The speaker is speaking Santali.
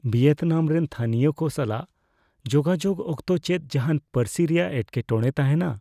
ᱵᱷᱤᱭᱮᱛᱱᱟᱢ ᱨᱮᱱ ᱛᱷᱟᱹᱱᱤᱭᱚ ᱠᱚ ᱥᱟᱞᱟᱜ ᱡᱳᱜᱟᱡᱳᱜ ᱚᱠᱛᱚ ᱪᱮᱫ ᱡᱟᱦᱟᱱ ᱯᱟᱹᱨᱥᱤ ᱨᱮᱭᱟᱜ ᱮᱴᱠᱮᱴᱚᱲᱮ ᱛᱟᱦᱮᱱᱟ ?